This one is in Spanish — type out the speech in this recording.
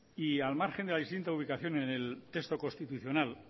y al margen de la distinta ubicación en el texto constitucional